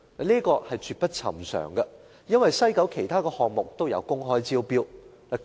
這絕不尋常，因為西九文化區其他項目都有公開招標。